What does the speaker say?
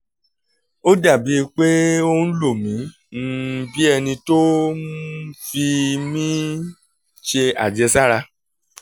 ó dà bíi pé ó ń lo mi um bí ẹni tó um ń fi fi mí ṣe àjẹsára